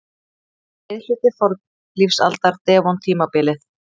Miðhluti fornlífsaldar- devon-tímabilið.